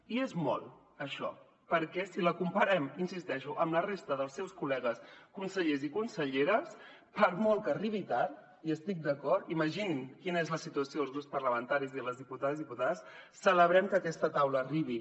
i és molt això perquè si la comparem hi insisteixo amb la resta dels seus col·legues consellers i conselleres per molt que arribi tard hi estic d’acord imaginin quina és la situació als grups parlamentaris de les diputades i diputats celebrem que aquesta taula arribi